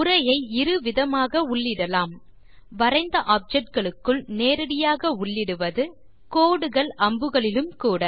உரையை இரு விதமாக உள்ளிடலாம் வரைந்த ஆப்ஜெக்ட் க்குள் நேரடியாக உள்ளிடுவது கோடுகள் அம்புகளிலும் கூட